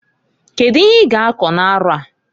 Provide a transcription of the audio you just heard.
Kedu ihe i g'akọ n'arọ a?